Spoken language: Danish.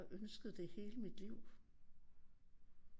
Ønsket det hele mit liv